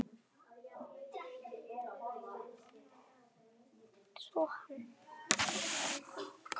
Maðurinn með nýja andlitið